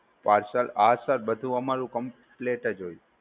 parcel, હા sir બધુ અમારુ complete જ હોય.